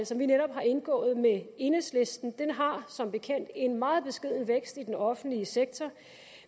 som vi netop har indgået med enhedslisten har som bekendt en meget beskeden vækst i den offentlige sektor